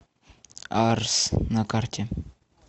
арс на карте